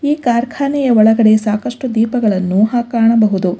ಈ ಕಾರ್ಖಾನೆಯ ಒಳಗಡೆ ಸಾಕಷ್ಟು ದೀಪಗಳನ್ನು ಆ ಕಾಣಬಹುದು.